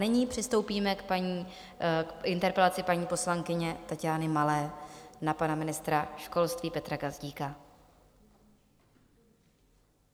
Nyní přistoupíme k interpelaci paní poslankyně Taťány Malé na pana ministra školství Petra Gazdíka.